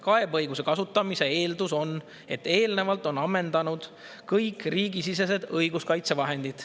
Kaebeõiguse kasutamise eeldus on, et eelnevalt on ammendunud kõik riigisisesed õiguskaitsevahendid.